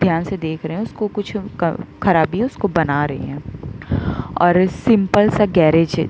ध्यान से देख रहे है उसको कुछ क खराबी है उसको बना रहे है और ए सिंपल सा गैरेज है।